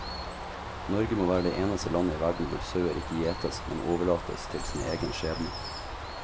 Norge må være det eneste landet i verden hvor sauer ikke gjetes, men overlates til sin egen skjebne.